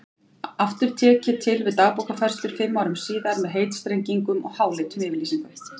Aftur tek ég til við Dagbókarfærslur fimm árum síðar með heitstrengingum og háleitum yfirlýsingum.